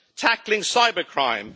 tackling cybercrime